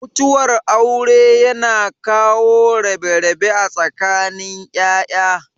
Mutuwar aure yana kawo rabe-rabe a tsakanin ya'ya.